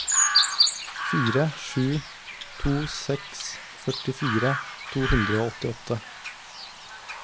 fire sju to seks førtifire to hundre og åttiåtte